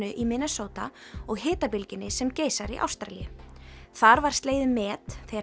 í Minnesota og hitabylgjunni sem geisar í Ástralíu þar var slegið met þegar